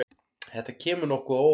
Þetta kemur nokkuð á óvart.